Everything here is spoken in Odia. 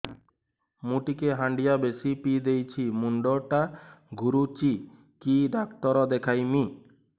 ମୁଇ ଟିକେ ହାଣ୍ଡିଆ ବେଶି ପିଇ ଦେଇଛି ମୁଣ୍ଡ ଟା ଘୁରୁଚି କି ଡାକ୍ତର ଦେଖେଇମି